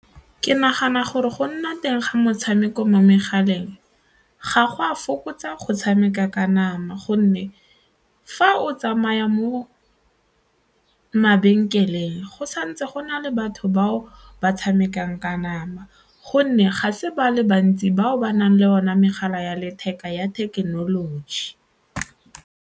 Ke nagana gore go nna teng ga metshameko mo megaleng ga go a fokotsa go tshameka ka nama gonne fa o tsamaya mo mabenkeleng go santse go na le batho bao ba tshamekang ka nama gonne ga se ba le bantsi bao ba nang le one megala ya letheka ya thekenoloji.